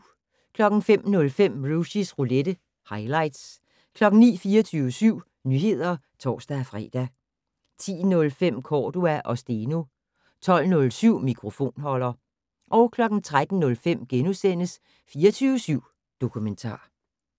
05:05: Rushys roulette - highlights 09:00: 24syv Nyheder (tor-fre) 10:05: Cordua & Steno 12:07: Mikrofonholder 13:05: 24syv Dokumentar *